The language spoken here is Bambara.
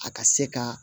A ka se ka